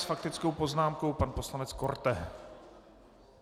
S faktickou poznámkou pan poslanec Korte.